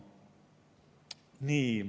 Nii.